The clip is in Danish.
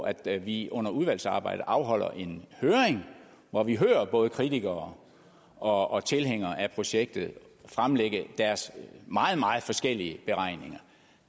at vi under udvalgsarbejdet afholder en høring hvor vi hører både kritikere og tilhængere af projektet fremlægge deres meget meget forskellige beregninger